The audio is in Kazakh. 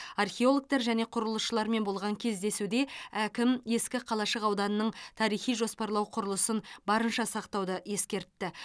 археологтар және құрылысшылармен болған кездесуде әкім ескі қалашық ауданының тарихи жоспарлау құрылысын барынша сақтауды ескертті